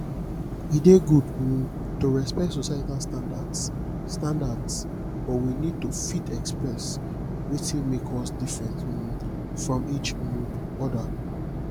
e dey good um to respect societal standards standards but we need to fit express wetin make us different um from each um other